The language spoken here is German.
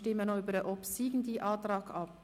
Wir stimmen über den obsiegenden Antrag ab.